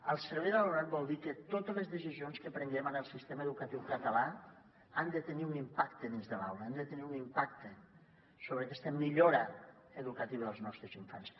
al servei de l’alumnat vol dir que totes les decisions que prenguem en el sistema educatiu català han de tenir un impacte dins de l’aula han de tenir un impacte sobre aquesta millora educativa dels nostres infants